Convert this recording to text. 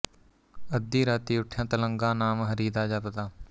ਅੱਧੀਂ ਰਾਤੀਂ ਉਠਿਆ ਤਲੰਗਾ ਨਾਮ ਹਰੀ ਦਾ ਜਪਦਾ